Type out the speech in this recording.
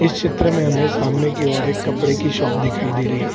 इस चित्र में हमें सामने की ओर एक कपड़े की शॉप दिखाई दे रही है।